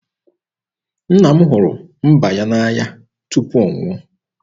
Nna m hụrụ mba ya n'anya tupu ọ nwụọ.